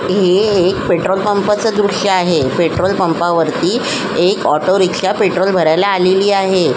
हे एक पेट्रोल पंपा च दृश्य आहे पेट्रोल पंपा वरती एक ऑटोरिक्षा पेट्रोल भरायला आलेली आहे.